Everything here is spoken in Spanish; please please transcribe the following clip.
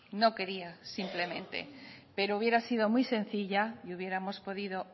no quería simplemente pero hubiera sido muy sencilla y hubiéramos podido